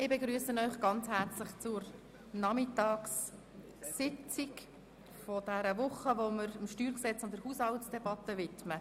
Ich begrüsse Sie herzlich zur Nachmittagssitzung, welche wir dem Steuergesetz (StG) und der Haushaltsdebatte widmen.